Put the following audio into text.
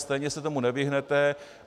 Stejně se tomu nevyhnete.